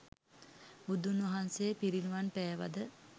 බුදුන් වහන්සේ පිරිනිවන් පෑවද